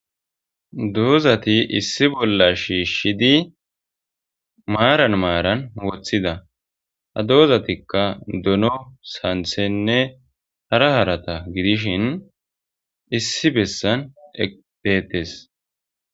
Doozati issi bolla shiishidi maaran maaran woththida. Ha doozatikka; dono, sanththenne hara harata gidishin issi bessan eqqi deetees.